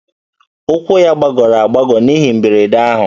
Ụkwụ ya gbagọrọ agbagọ n'ihe mberede ahụ